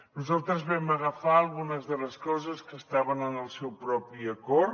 nosaltres vam agafar algunes de les coses que estaven en el seu propi acord